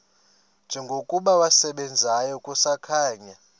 njengokuba wasebenzayo kusakhanya